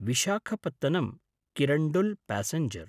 Visakhapatnam Kirandul passenger